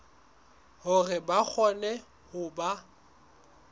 hore ba kgone ho ba